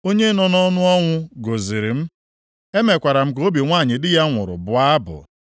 Onye nọ nʼọnụ ọnwụ gọziri m; emekwara m ka obi nwanyị di ya nwụrụ bụọ abụ.